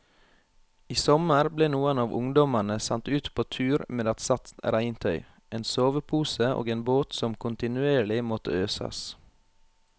I sommer ble noen av ungdommene sendt ut på tur med ett sett regntøy, en sovepose og en båt som kontinuerlig måtte øses.